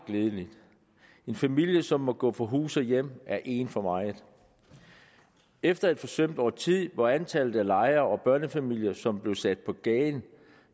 glædeligt en familie som må gå fra hus og hjem er én for meget efter et forsømt årti hvor antallet af lejere og børnefamilier som blev sat på gaden